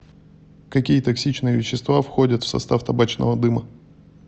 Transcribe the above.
какие токсичные вещества входят в состав табачного дыма